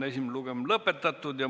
Esimene lugemine on lõppenud.